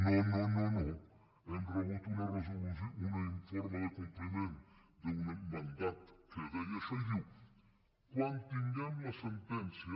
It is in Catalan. no no no hem rebut un informe de compliment d’un mandat que deia això i diu quan tinguem la sentència